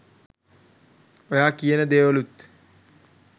ඔයා කියන දේවලුත්